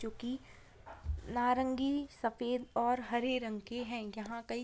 जो की नारंगी सफ़ेद और हरे रंग के है यहाँ कई --